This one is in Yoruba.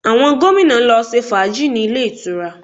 Àwọn gómìnà lọ ṣe fàájì ní ilé ìtura